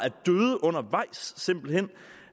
simpelt hen